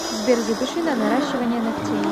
сбер запиши на наращивание ногтей